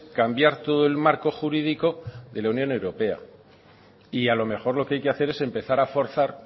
cambiar todo el marco jurídico de la unión europea y a lo mejor lo que hay que hacer es empezar a forzar